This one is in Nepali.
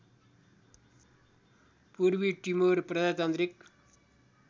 पूर्वी टिमोर प्रजातन्त्रिक